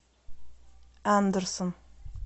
андерсон